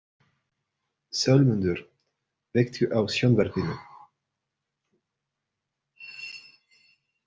Sölmundur, kveiktu á sjónvarpinu.